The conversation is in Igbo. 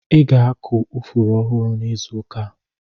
Ị ga-akụ ifuru ọhụrụ n'izu ụka a.